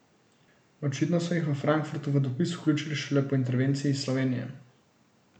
Očitno so jih v Frankfurtu v dopis vključili šele po intervenciji iz Slovenije.